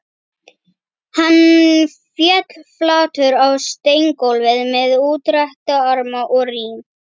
Hann féll flatur á steingólfið með útrétta arma og rím